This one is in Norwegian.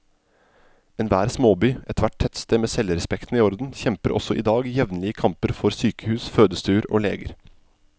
Enhver småby, ethvert tettsted med selvrespekten i orden, kjemper også i dag jevnlige kamper for sykehus, fødestuer og leger.